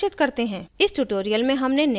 इस tutorial में हमने निम्न करना सीखा